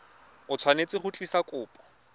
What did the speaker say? o tshwanetse go tlisa kopo